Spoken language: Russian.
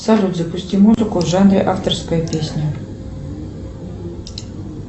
салют запусти музыку в жанре авторская песня